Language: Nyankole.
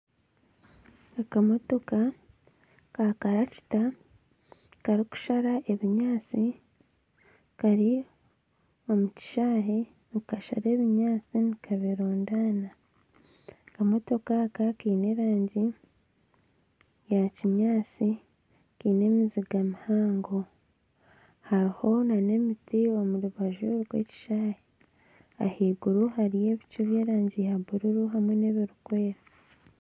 Akamotoka ka karakita karikushara ebinyaatsi kari omu kishaayi nikashara ebinyaatsi nikabirundaana. Akamotoka aka keine erangi ya kinyaatsi, keine enziga mpango. Hariho n'emiti omu rubaju rw'ekishaayi, ahaiguru hariyo ebicu by'erangi ya buruuru hamwe n'ebirikwera